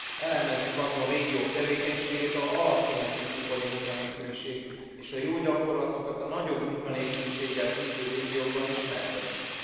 Elemezzük azon régiók tevékenységét, ahol alacsony az ifjúkori munkanélküliség, és a jó gyakorlatokat a nagyobb munkanélküliséggel küzdő régiókban ismertessük.